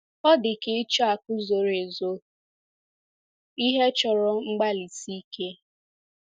Ọ dị ka ịchọ akụ̀ zoro ezo — ihe chọrọ mgbalịsi ike.